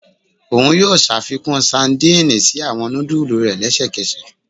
Oun yoo ṣafikun sadìnìnnì si awọn nudulu rẹ lẹsẹkẹsẹ